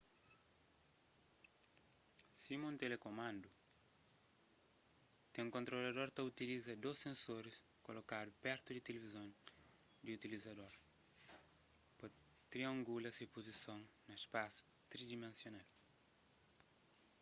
sima un telekumandu kel kontrolador ta utiliza dôs sensoris kolokadu pertu di tilivizon di utilizador pa triangula se puzison na spasu tridimensional